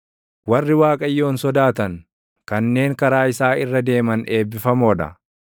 Warri Waaqayyoon sodaatan, kanneen karaa isaa irra deeman eebbifamoo dha.